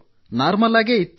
normal ಆಗೇ ಇತ್ತು